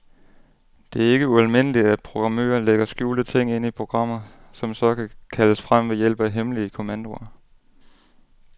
Det er ikke ualmindeligt, at programmører lægger skjulte ting ind i programmer, som så kan kaldes frem ved hjælp af hemmelige kommandoer.